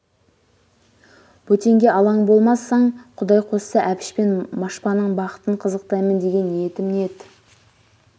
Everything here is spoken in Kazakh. бөтенге алаң болмасаң құдай қосса әбіш пен машпаның бақытын қызықтаймын деген ниетім ниет